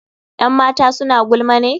Yan matan suna gulma ne?